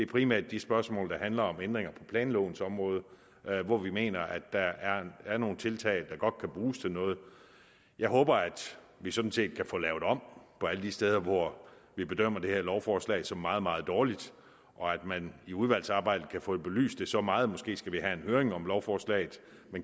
primært de spørgsmål der handler om ændringer på planlovens område hvor vi mener at der er er nogle tiltag der godt kan bruges til noget jeg håber at vi sådan set kan få lavet om på alle de steder hvor vi bedømmer det her lovforslag som meget meget dårligt og at man i udvalgsarbejdet kan få belyst det så meget måske skal vi have en høring om lovforslaget